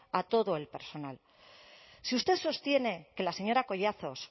a todo el personal si usted sostiene que la señora collazos